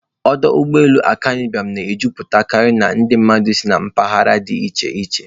Ọdụ ụgbọ elu Akanu Ibiam na-ejupụtakarị ndị mmadụ si na mpaghara dị iche iche.